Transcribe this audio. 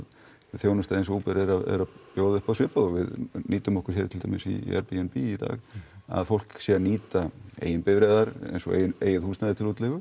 þjónusta eins og Uber er að bjóða uppá svipað og við nýtum okkur hér til dæmis í AirBnB í dag að fólk sé að nýta eigin bifreiðar eins og eigið húsnæði til útleigu